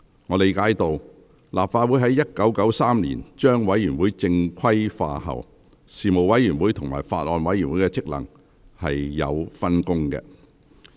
我理解到，立法局於1993年將委員會正規化後，事務委員會與法案委員會的職能確有分工。